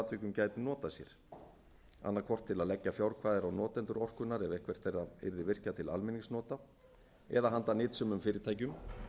atvikum gætu notað sér annað hvort til að leggja fjárkvaðir á notendur orkunnar eða eitthvert þeirra yrði virkjað til almenningsnota eða handa nytsömum fyrirtækjum